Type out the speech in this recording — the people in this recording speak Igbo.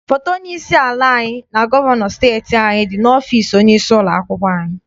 Foto onye isi ala anyị na gọvanọ steeti anyị dị n'ọfịịsi onye isi ụlọakwụkwọ anyị.